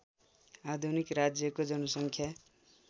आधुनिक राज्यको जनसङ्ख्या